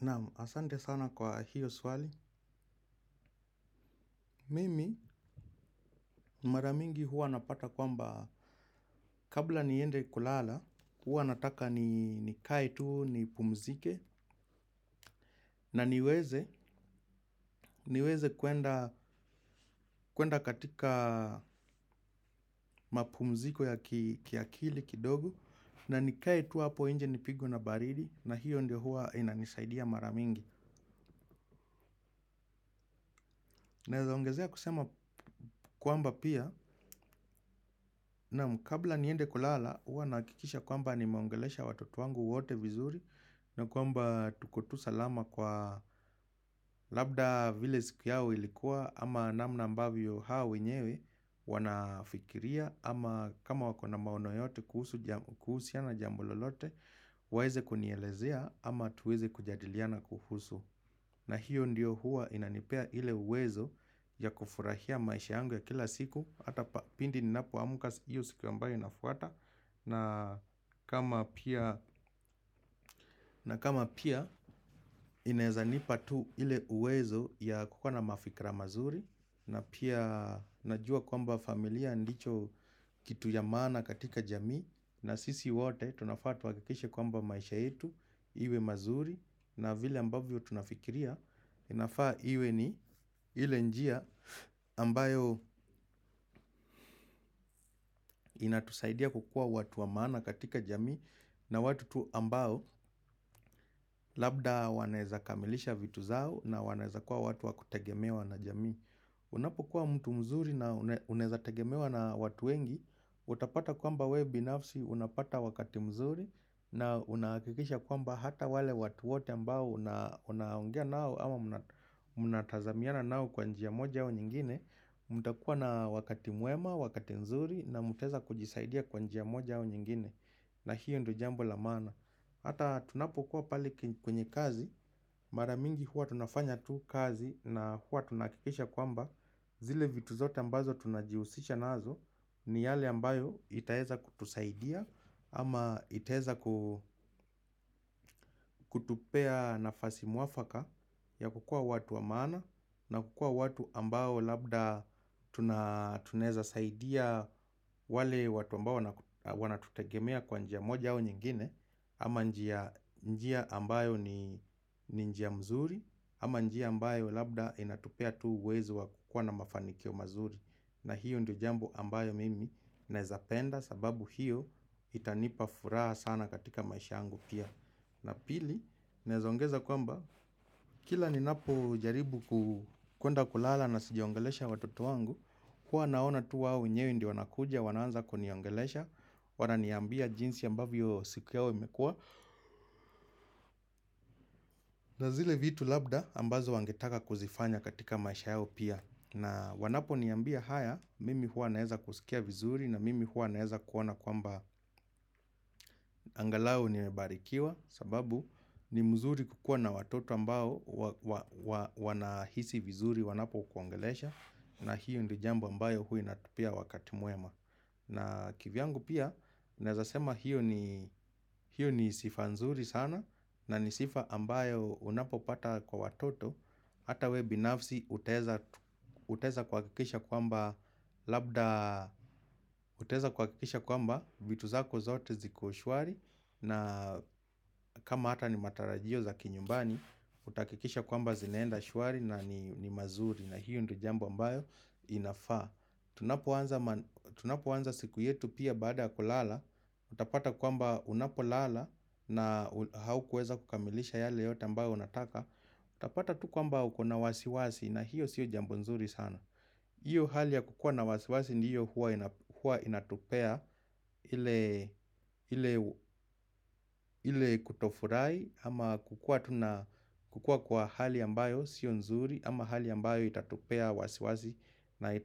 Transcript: Naam, asante sana kwa hiyo swali. Mimi, maramingi huwa napata kwamba kabla niende kulala, huwa nataka ni kae tuu ni pumzike na niweze kuenda katika mapumziko ya kiakili kidogo na ni kai tuu hapo inje ni pigwe na baridi na hiyo nde huwa inanisaidia maramingi. Nawezaongezea kusema kwamba pia naam, kabla niende kulala huwa nahakikisha kwamba nimeongelesha watoto wangu wote vizuri na kwamba tuko tu salama kwa labda vile siku yao ilikuwa ama namna ambavyo hao wenyewe wanafikiria ama kama wakona maono yote kuhusiana jambo lolote waweze kunielezea ama tuweze kujadiliana kuhusu. Na hiyo ndiyo huwa inanipea ile uwezo ya kufurahia maisha yangu ya kila siku. Hata pindi ninapo amuka hiyo siku ambayo inafuata, naa. Na kama pia inawezanipa tu ile uwezo ya kukuwa na mafikra mazuri, na pia najua kwamba familia ndicho kitu ya maana katika jamii. Na sisi wote tunafaa tuhakikishe kwamba maisha yetu iwe mazuri. Na vile ambavyo tunafikiria inafaa iwe ni ile njia ambayo inatusaidia kukua watu wa maana katika jamii. Na watu ambao labda wanaweza kamilisha vitu zao, na wanaweza kua watu wa kutegemewa na jami. Unapokuwa mtu mzuri na unaweza tegemewa na watu wengi. Utapata kwamba wewe binafsi unapata wakati mzuri na unakikisha kwamba hata wale watu wote ambao unaongea nao ama unatazamiana nao kwa njia moja au nyingine mtakua na wakati mwema, wakati nzuri na mutaweza kujisaidia kwanjia moja au nyingine na hiyo ndo jambo la maana, hata tunapokuwa pale kwenye kazi maramingi huwa tunafanya tu kazi na huwa tunakikisha kwamba zile vitu zote ambazo tunajihusisha nazo ni yale ambayo itaweza kutusaidia. Ama itaweza ku kutupea nafasi muafaka ya kukua watu wa maana na kukua watu ambao labda tunaweza saidia wale watu ambao wana tutegemea kwa njia moja au nyingine. Ama njia ambayo ni njia mzuri ama njia ambayo labda inatupea tu uwezo wa kukua na mafanikio mazuri, na hiyo ndo jambo ambayo mimi nawezapenda sababu hiyo itanipa furaha sana katika maisha yangu pia. Na pili, nawezaongeza kwamba kila ninapo jaribu kuenda kulala na sijiongelesha watoto wangu. Kuwa naona tu wao wenyewe ndio wanakuja, wananza kuniiongelesha, wana niambia jinsi ambavyo siku yao mekua. Na zile vitu labda ambazo wangetaka kuzifanya katika maisha yawe pia. Na wanapo niambia haya mimi huwa naweza kusikia vizuri na mimi huwa naweza kuona kwamba angalau nimebarikiwa sababu ni mzuri kukua na watoto ambao wanahisi vizuri wanapo kuangelesha na hiyo ndiyo jambo ambayo huwa inatupa wakati mwema. Na kivyangu pia, nawezasema hiyo ni sifa nzuri sana na ni sifa ambayo unapo pata kwa watoto. Hata we binafsi unaweza tu utaweza kuhakikisha kwamba, labda, utaweza kuhakikisha kwamba vitu zako zote ziko shwari. Na kama hata ni matarajio za kinyumbani, utahakikisha kwamba zinaenda shwari na ni mazuri. Na hiyo ndiyo jambo ambayo inafaa. Tunapoanza siku yetu pia baada ya kulala utapata kwamba unapolala na haukuweza kukamilisha yale yote ambayo unataka. Utapata tu kwamba uko na wasiwasi na hiyo sio jambo nzuri sana. Iyo hali ya kukua na wasiwasi ndiyo hua inatupea ile kutofurahi ama kukua kwa hali ambayo sio nzuri. Ama hali ambayo itatupea wasiwasi na